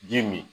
Ji min